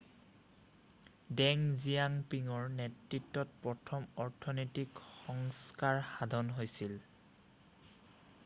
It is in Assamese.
ডেং জিয়াঅ'পিঙৰ নেতৃত্বত প্ৰথম অৰ্থনৈতিক সংস্কাৰ সাধন হৈছিল